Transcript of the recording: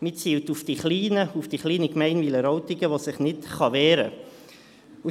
Man zielt auf die Kleinen, auf die kleine Gemeinde Wileroltigen, die sich nicht wehren kann.